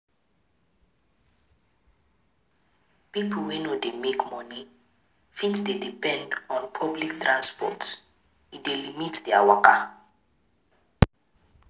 Pipo wey no dey make money fit dey depend on public transport, e dey limit their waka